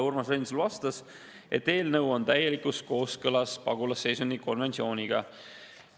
Urmas Reinsalu vastas, et eelnõu on täielikus kooskõlas pagulasseisundi konventsiooniga.